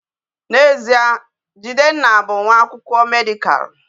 Na ezea, jidenna bu nwa akwukwo medical